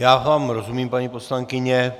Já vám rozumím, paní poslankyně.